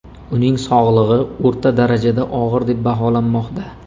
Uning sog‘lig‘i o‘rta darajada og‘ir deb baholanmoqda.